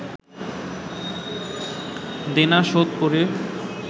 দেনা শোধ করে